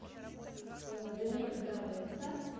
с домиником торетто